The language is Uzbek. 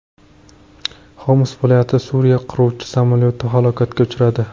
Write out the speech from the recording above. Xoms viloyatida Suriya qiruvchi samolyoti halokatga uchradi.